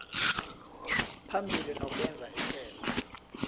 phambili nokwenza ihlelo